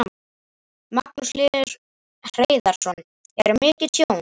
Magnús Hlynur Hreiðarsson: Er mikið tjón?